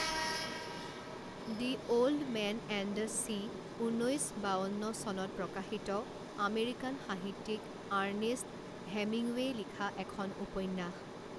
The old man and the sea ঊনৈছ বাৱন্ন চনত প্ৰকাশিত আমেৰিকান সাহিত্যিক আৰ্ণেষ্ট হেমিঙৱেই লিখা এখন উপন্যাস।